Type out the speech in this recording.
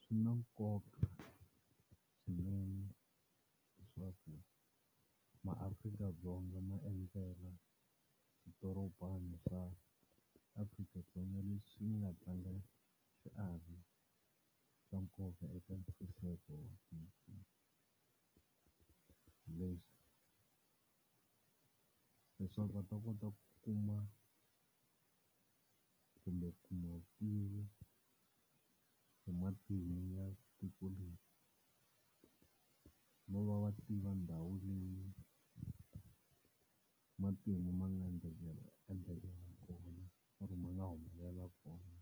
Swi na nkoka swinene leswaku maAfrika-Dzonga ma endzela swidorobana swa Afrika-Dzonga leswi ni nga tlanga xiave xa nkoka eka . Leswaku va ta kota ku kuma kumbe hi matimu ya tiko leri. No va va tiva ndhawu leyi matimu ma nga endlekela kona or-o ma nga humelela kona.